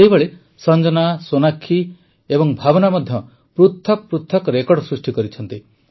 ସେହିଭଳି ସଂଜନା ସୋନାକ୍ଷୀ ଓ ଭାବନା ମଧ୍ୟ ପୃଥକ ପୃଥକ ରେକର୍ଡ଼ ସୃଷ୍ଟି କରିିଛନ୍ତି